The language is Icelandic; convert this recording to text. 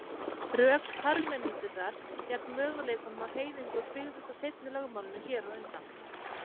Rök Parmenídesar gegn möguleikanum á hreyfingu byggðust á seinna lögmálinu hér á undan.